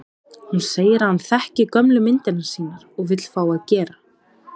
Hún segir að hann þekki gömlu myndirnar sínar og vill fá að gera